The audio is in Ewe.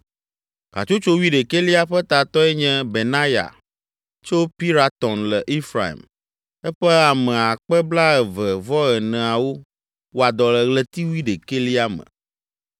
Hatsotso wuiɖekɛlia ƒe tatɔe nye Benaya tso Piratɔn le Efraim. Eƒe ame akpe blaeve-vɔ-eneawo (24,000) wɔa dɔ le ɣleti wuiɖekɛlia me.